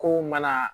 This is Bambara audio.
Kow mana